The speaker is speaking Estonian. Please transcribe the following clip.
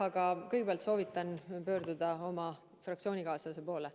Aga jah, kõigepealt soovitan teil pöörduda oma fraktsioonikaaslase poole.